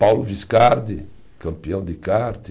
Paulo Viscardi, campeão de kart.